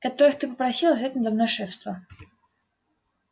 которых ты попросила взять надо мной шефство